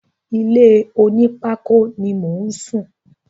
Ilé onípákó ni mò ń sùn.